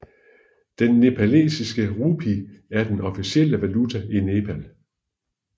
Den nepalesiske rupee er den officielle valuta i Nepal